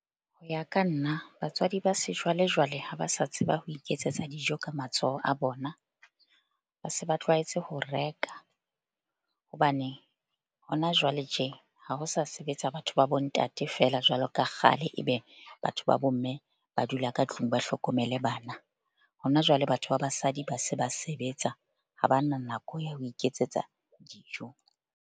Ho ya ka nna batswadi ba sejwalejwale, ha ba sa tseba ho iketsetsa dijo ka matsoho a bona. Ba se ba tlwaetse ho reka hobane hona jwale tje. Ha ho sa sebetsa batho ba bo ntate feela jwalo ka kgale. Ebe batho ba bo mme ba dula ka tlung, ba hlokomele bana. Hona jwale batho ba basadi ba se ba sebetsa ha bana nako ya ho iketsetsa dijo.